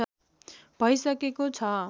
भै सकेको छ